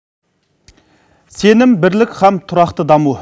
сенім бірлік һәм тұрақты даму